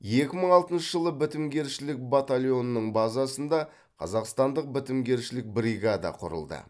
екі мың алтыншы жылы бітімгершілік батальонының базасында қазақстандық бітімгершілік бригада құрылды